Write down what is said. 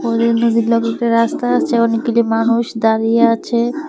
ওদের নদীর লগে একটা রাস্তা আছে অনেকগুলি মানুষ দাঁড়িয়ে আছে।